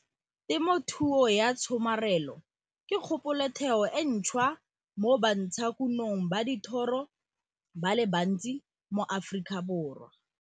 Temothuo ya tshomarelo TT ke kgopolotheo e ntšhwa mo bantshakunong ba dithoro ba le bantsi mo Aforikaborwa.